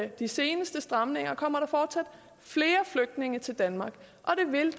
de seneste stramninger kommer der fortsat flere flygtninge til danmark og det vil